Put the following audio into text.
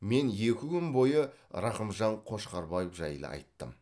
мен екі күн бойы рақымжан қошқарбаев жайлы айттым